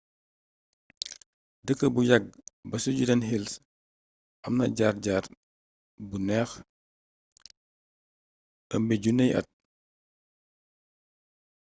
dëkk bu yàgg ba ci judean hills am na jaar jaar bu neex ëmby junney at